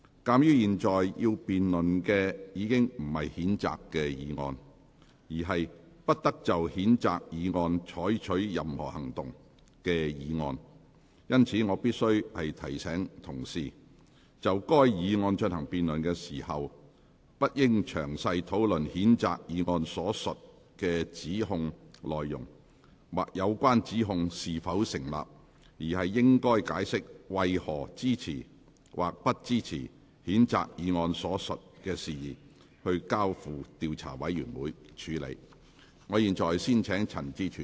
鑒於現在要辯論的不是譴責議案，而是"不得就譴責議案再採取任何行動"的議案，因此，我必須提醒議員，就該議案進行辯論時，不應詳細討論譴責議案所述的指控內容，或有關指控是否成立，而應解釋為何支持或不支持將譴責議案所述的事宜，交付調查委員會處理。